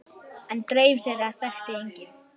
En draum þeirra þekkti enginn.